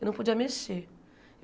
Eu não podia mexer.